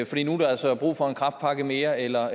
fordi nu er der altså brug for en kræftpakke mere eller